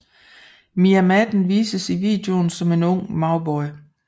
Miah Madden vises i videoen som en ung Mauboy